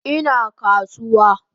Ina kasuwa